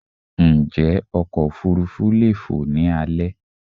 Njé ọkọ̀ òfurufú leè fò ni alé